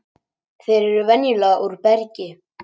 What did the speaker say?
þeir eru venjulega úr bergi